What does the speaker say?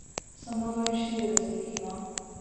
Samo dvainštirideset jih ima!